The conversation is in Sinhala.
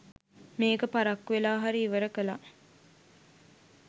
මේක පරක්කු‍ වෙලා හරි ඉවර කලා